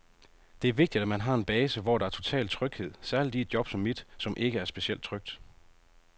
Det er vigtigt, at man har en base, hvor der er total tryghed, særligt i et job som mit, som ikke er specielt trygt.